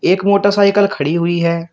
एक मोटरसाइकल खड़ी हुई है।